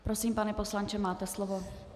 Prosím, pane poslanče, máte slovo.